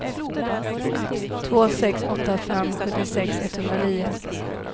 två sex åtta fem sjuttiosex etthundranio